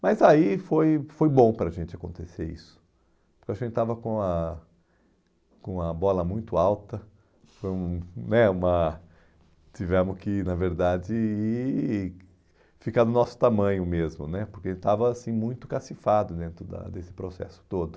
Mas aí foi foi bom para a gente acontecer isso, porque a gente estava com a com a bola muito alta, foi um, né uma, tivemos que, na verdade ir, ficar do nosso tamanho mesmo né, porque estava assim muito cacifado dentro da desse processo todo.